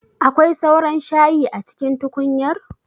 Akwai sauran shayi a cikin tukunyar?